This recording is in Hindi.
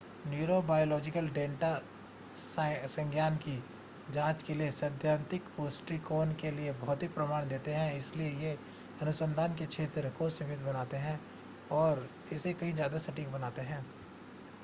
न्यूरोबायोलॉजिकल डेटा संज्ञान की जांच के लिए सैद्धांतिक दृष्टिकोण के लिए भौतिक प्रमाण देते है इसलिए ये अनुसंधान के क्षेत्र को सीमित बनाते हैं और इसे कहीं ज़्यादा सटीक बनाते हैं